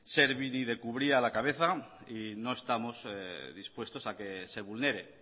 servini de cubría a la cabeza y no estamos dispuestos a que se vulnere